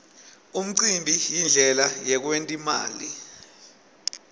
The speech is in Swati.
umcimbi yindlela yekwent imali